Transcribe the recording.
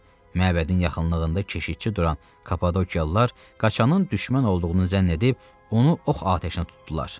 Məbədin yaxınlığında keşikçi duran Kapadokiyalılar qaçanın düşmən olduğunu zənn edib onu ox atəşinə tutdular.